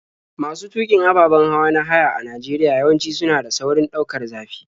Masu tuƙin ababen hawa na haya a Najeriya yawanci suna da saurin ɗaukar zafi.